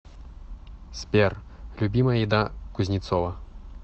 сбер любимая еда кузнецова